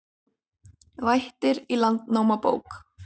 Vættir í Landnámabók